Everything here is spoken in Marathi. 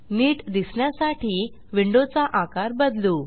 नीट दिसण्यासाठी विंडोचा आकार बदलू